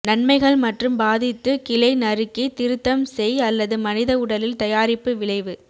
நன்மைகள் மற்றும் பாதித்து கிளை நறுக்கி திருத்தம் செய் அல்லது மனித உடலில் தயாரிப்பு விளைவு